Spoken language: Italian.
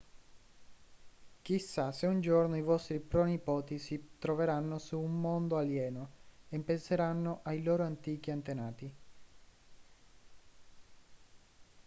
chissà se un giorno i vostri pronipoti si troveranno su un mondo alieno e penseranno ai loro antichi antenati